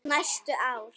Næstu ár.